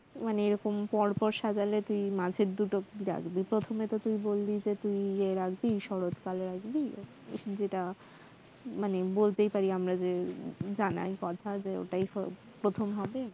মানে এরকম পর পর সাজালে তুই মাঝের দুটোকে রাখবি প্রথমে তো তুই বললি যে তুই রাখবি শরত কাল রাখবি যেটা মানে বলতেই পারি আমরা যে জানার কথা যে ওটাই হয়